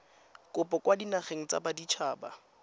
kopo kwa dinageng tsa baditshaba